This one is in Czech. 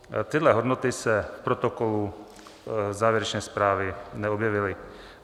Tyhle hodnoty se v protokolu závěrečné zprávy neobjevily.